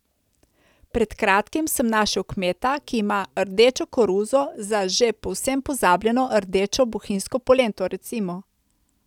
Pred kratkim sem našel kmeta, ki ima rdečo koruzo za že povsem pozabljeno rdečo bohinjsko polento, recimo.